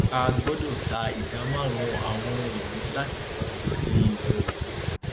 a gbọdọ ta ìdá márùnún àwọn ohunìní láti san gbèsè ilẹ òkèèrè